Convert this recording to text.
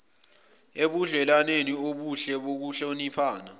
ebudlelwaneni obuhle bokuhloniphana